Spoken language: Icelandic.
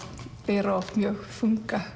bera oft mjög þunga